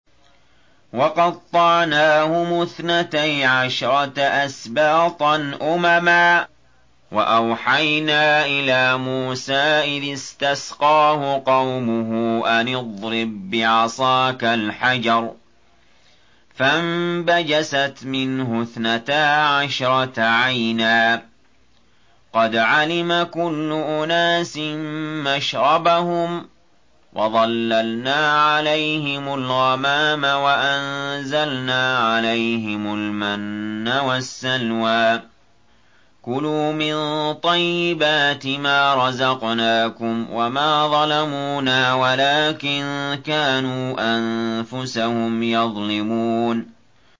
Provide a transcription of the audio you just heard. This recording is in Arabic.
وَقَطَّعْنَاهُمُ اثْنَتَيْ عَشْرَةَ أَسْبَاطًا أُمَمًا ۚ وَأَوْحَيْنَا إِلَىٰ مُوسَىٰ إِذِ اسْتَسْقَاهُ قَوْمُهُ أَنِ اضْرِب بِّعَصَاكَ الْحَجَرَ ۖ فَانبَجَسَتْ مِنْهُ اثْنَتَا عَشْرَةَ عَيْنًا ۖ قَدْ عَلِمَ كُلُّ أُنَاسٍ مَّشْرَبَهُمْ ۚ وَظَلَّلْنَا عَلَيْهِمُ الْغَمَامَ وَأَنزَلْنَا عَلَيْهِمُ الْمَنَّ وَالسَّلْوَىٰ ۖ كُلُوا مِن طَيِّبَاتِ مَا رَزَقْنَاكُمْ ۚ وَمَا ظَلَمُونَا وَلَٰكِن كَانُوا أَنفُسَهُمْ يَظْلِمُونَ